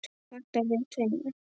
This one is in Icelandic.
Vantar þig tvinna?